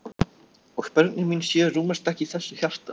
Og börnin mín sjö rúmast ekki í þessu hjarta.